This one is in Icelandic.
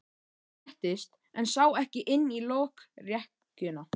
Hann settist en sá ekki inn í lokrekkjuna.